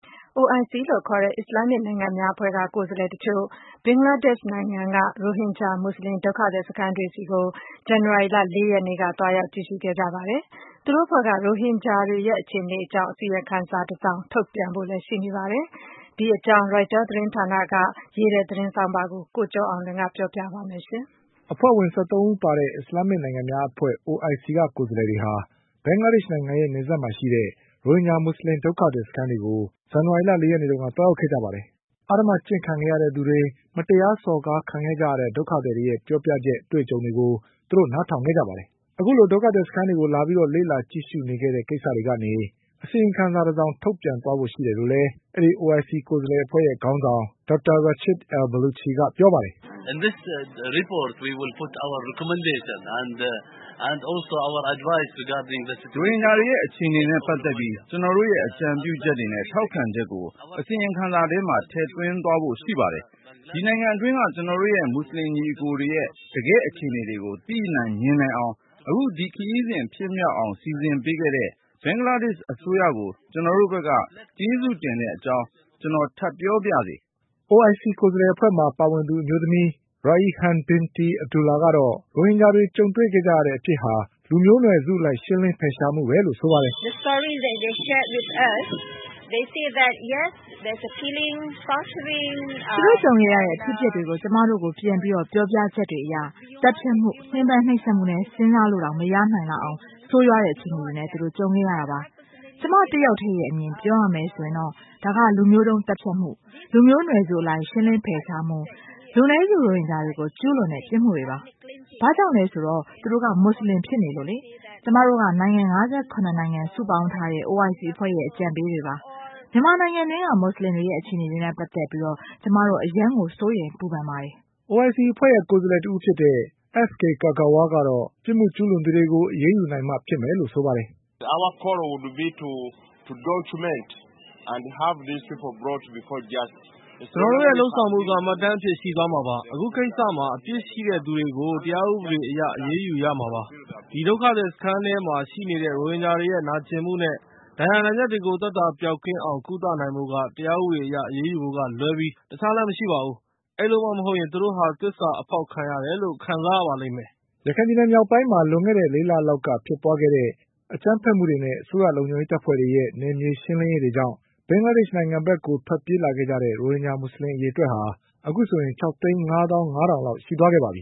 OIC လို့ခေါ်တဲ့အစ္စလာမ်မစ်နိုင်ငံများအဖွဲ့ကကိုယ်စားလှည်တချို့ ဘင်္ဂလားဒေ့ရှ်နိုင်ငံက ရိုဟင်ဂျာမူဆလင် ဒုက္ခသည်စခန်းတွေကို ဇန်နဝါရီလ ၄ရက်နေ့တုန်းက လာရောက်ကြည့်ရှုခဲ့ကြပါတယ်။ သူတို့အဖွဲ့က ရိုဟင်ဂျာတွေရဲ့အခြေအနေ တွေနဲ့ပတ်သက်ပြီး အစီရင်ခံစာတစောင်ထုတ်ပြန်ဖို့လည်းရှိနေပါတယ်။ ဒီအကြောင်း ကိုကျော်အောင်လွင်က ဆက်ပြီး ပြောပြပါလိမ့်မယ်။ အဖွဲ့ဝင်၁၃ဦးပါတဲ့ OIC ကိုယ်စားလည်တွေဟာ ဘင်္ဂလားဒေ့ရှ်နိုင်ငံရဲ့နယ်စပ်မှာရှိတဲ့ ရိုဟင်ဂျာမူဆလင်ဒုက္ခသည်စခန်း တွေကို ဇန်နဝါရီလ ၄ရက်နေ့တုန်းက သွားရောက်ခဲ့ကြပါတယ်။ အဓမ္မကျင့်ခံခဲ့ရတဲ့သူတွေ၊ မတရားစော်ကားခံကြရတဲ့ ဒုက္ခသည်တွေရဲ့ပြောပြတဲ့ အတွေ့အကြုံတွေကိုနား ထောင်ခဲ့ကြပါတယ်။ အခုလိုဒုက္ခသည်စခန်းတွေကိုလာပြီးလေ့လာ ကြည့်ရှုခဲ့တဲ့ကိစ္စကနေ အစီရင်ခံစာတစောင်ထုတ်ပြန်သွားဖို့လည်းရှိတယ်လို့ အဖွဲ့ခေါင်းဆောင် Dr. Rashi al Baluchi ကပြောပါတယ်။ "ရိုဟင်ဂျာတွေရဲ့အခြေအနေတွေနဲ့ပတ်သက်ပြီးကျနော်တို့ရဲ့အကြံပြုချက်တွေနဲ့ထောက်ခံချက်ကို အစီရင်ခံစာထဲမှာ ထည့်သွင်းသွားဖို့ရှိပါတယ်။ ဒီနိုင်ငံအတွင်းက ကျနော်တို့ရဲ့မူဆလင်ညီအကိုတွေရဲ့ တကယ့်အခြေအနေတွေကို သိနိုင် မြင်နိုင်အောင်၊ အခုဒီခရီးစဉ်ဖြစ်မြောက်အောင်စီစဉ်ပေးခဲ့တဲ့ ဘင်္ဂလားဒေ့ရှ်အစိုးရကို ကျနော်တို့ ဘက်က ကျေးဇူးတင်တဲ့ အကြောင်း ကျနော်ထပ်ပြောပါရစေ။" OIC ကိုယ်စားလှည်အဖွဲ့မှာပါဝင်သူ အမျိုးသမီး Raihan Binti Abdullah ကတော့ ရိုဟင်ဂျာတွေကြုံခဲ့ရတဲ့အဖြစ်ဟာ လူမျိုးနွယ်စုအလိုက်ရှင်းလင်းမှုပဲ လို့ဆိုပါတယ်။ "သူတို့ကြုံခဲ့ရတဲ့အဖြစ်အပျက်တွေကို ကျမတို့ကိုပြန်ပြီးပြောပြချက်တွေအရ သတ်ဖြတ်မှု၊ ညှင်းပမ်းနှိပ်စက်မှုနဲ့ စဉ်းစားလို့ တောင်မရနိုင်လောက်အောင် ဆိုးဝါးတဲ့အခြေအနေတွေ သူတို့ကြုံခဲ့ရတာပါ။ ကျမတဦးထဲရဲ့ အမြင်အရပြောရမယ်ဆိုရင် ဒါက လူမျိုးတုံးသတ်ဖြတ်မှု၊ လူမျိုးနွယ်စုအလိုက်ရှင်းလင်းဖယ်ရှားမှု၊ လူနည်းစုရိုဟင်ဂျာတွေကို ကျူးလွန်တဲ့ ပြစ်မှုတွေပါ။ ဘာကြောင့်လဲဆိုတော့ သူတို့ကမူဆလင်ဖြစ်နေလို့ပါပဲ။ ကျမတို့က နိုင်ငံ၅၇ခုပေါင်းစုထားတဲ့ OIC အဖွဲ့ရဲ့အကြံပေး တွေပါ။ မြန်မာနိုင်ငံအတွင်းက မူဆလင်တွေရဲ့အခြေအနေတွေနဲ့ပတ်သက်ပြီး ကျမတို့ အလွန်အင်မတန်မှ စိုးရိမ်ပူပန်ပါ တယ်။" OIC အဖွဲ့က ကိုယ်စားလှည်တဦးဖြစ်တဲ့ S.K Kaggwa ကတော့ အပြစ်ကျူးလွန်သူတွေကို အရေးယူနိုင်မှဖြစ်မယ်လို့ ဆိုပါတယ်။ "ကျနော်တို့ရဲ့လုပ်ဆောင်မှုက မှတ်တမ်းအဖြစ်ရှိသွားမှာပါ။ အခုကိစ္စမှာ အပြစ်ရှိတဲ့သူတွေကို တရားဥပဒေအရ အရေးယူ ရမှာပါ။ ဒီဒုက္ခသည်စခန်းတွေထဲမှာ ရှိနေတဲ့ ရိုဟင်ဂျာတွေရဲ့ နာကျင်မှုနဲ့ဒဏ်ရာဒဏ်ချက်တွေကို သက်သာပျောက်ကင်းအောင် ကုသနိုင်ဖို့က တရားဥပဒေအရ အရေးယူဖို့ကလွဲပြီး တခြားလမ်းမရှိပါဘူး။ အဲဒီလိုမှမဟုတ်ရင် သူတို့ဟာ သစ္စာ အဖောက် ခံရတယ်လို့ခံစားရပါလိမ့်မယ်" ရခိုင်ပြည်နယ်မြောက်ပိုင်းမှာလွန်ခဲ့တဲ့ ၄လလောက်က ဖြစ်ပွါးခဲ့တဲ့အကြမ်းဖက်မှုတွေနဲ့အစိုးရလုံခြုံရေးတပ်ဖွဲ့တွေရဲ့ နယ်မြေရှင်းလင်းရေးတွေကြောင့် ဘင်္ဂလားဒေ့ရှ်နိုင်ငံကိုထွက် ပြေးလာခဲ့ကြတဲ့ ရိုဟင်ဂျာမူဆလင်အရေအတွက်က ၆သိန်း၅သောင်း၅ထောင်လောက်ရှိသွားပါပြ